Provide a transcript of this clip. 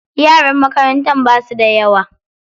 Yaran makarantar basu da yawa.